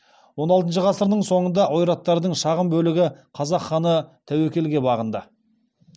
он алтыншы ғасырдың соңында ойраттардың шағын бөлігі қазақ ханы тәуекелге бағынды